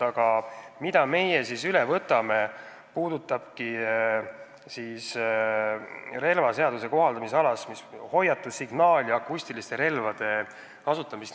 Aga see, mille me üle võtame, puudutab relvaseaduse kohaldumisalasse jäävate hoiatus-, signaal- ja akustiliste relvade kasutamist.